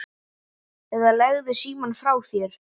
eða Leggðu símann frá þér!